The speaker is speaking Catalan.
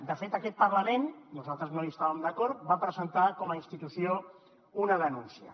de fet aquest parlament nosaltres no hi estàvem d’acord va presentar com a institució una denúncia